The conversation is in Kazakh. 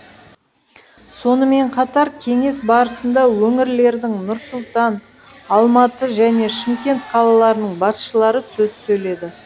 сонымен қатар кеңес барысында өңірлердің нұр сұлтан алматы және шымкент қалаларының басшылары сөз сөйледі